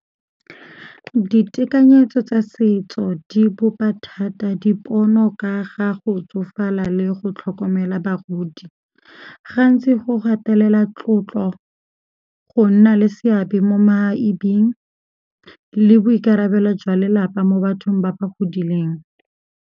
Ditekanyetso tsa setso di bopa thata dipono ka ga go tsofala le go tlhokomela bagodi. Gantsi go gatelela tlotlo, go nna le seabe mo maebing le boikarabelo jwa lelapa mo bathong ba ba godileng.